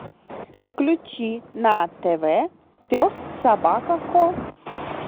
включи на тв пес собака ко